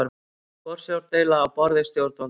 Forsjárdeila á borði stjórnvalda